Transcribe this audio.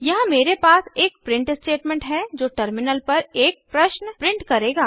यहाँ मेरे पास एक प्रिंट स्टेटमेंट है जो टर्मिनल पर एक प्रश्न प्रिंट करेगा